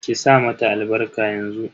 Ki sa mata albarka yanzu.